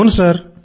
అవును సర్